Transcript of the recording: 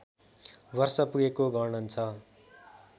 वर्ष पुगेको वर्णन छ